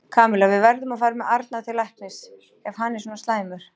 Kamilla, við verðum að fara með Arnar til læknis ef hann er svona slæmur.